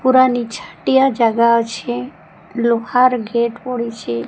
ପୁରା ନିଛାଟିଆ ଯାଗା ଅଛି। ଲୁହାର୍ ଗେଟ୍ ପଡ଼ିଛି।